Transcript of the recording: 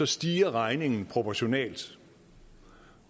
stiger regningen proportionalt